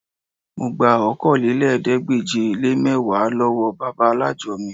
Mo gba Okòólélẹ́ẹ̀ẹ́dégbèje-le-mẹ́wàá lọ́wọ́ bàbá alájọ mi